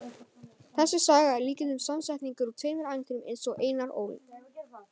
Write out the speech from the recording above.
Þessi saga er að líkindum samsetningur úr tveimur ævintýrum eins og Einar Ól.